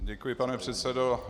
Děkuji, pane předsedo.